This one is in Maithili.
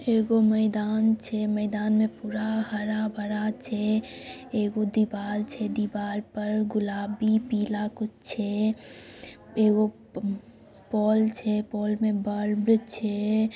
एकगो मैदान छेमैदान में पूरा हरा भरा छे एकगो दीवार छे दीवार पर गुलाबी पीला कुछ छे एकगो पोल छे पोल में बल्ब छे।